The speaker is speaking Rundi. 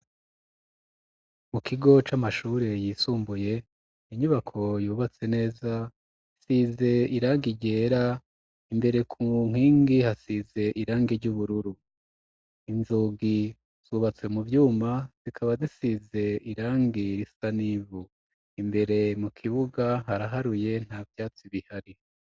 Mu kigo c'amashuri yisumbuye inyubako yubatse neza isize irangi ryera imbere ku nkingi hasize irangi ry'ubururu inzugi zubatswe mu vyuma zikaba zisize irangi risa n’ivu, imbere mu kibuga haraharuye nta vyatsi bihari.